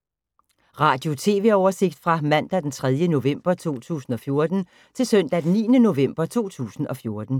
Radio/TV oversigt fra mandag d. 3. november 2014 til søndag d. 9. november 2014